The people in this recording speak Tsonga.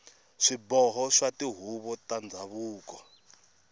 swiboho swa tihuvo ta ndhavuko